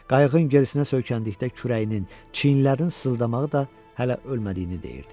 Qayığın gərisinə söykəndikdə kürəyinin, çiyinlərinin sızdamağı da hələ ölmədiyini deyirdi.